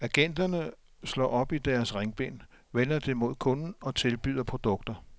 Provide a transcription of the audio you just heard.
Agenterne slår op i deres ringbind, vender det mod kunden og tilbyder produkter.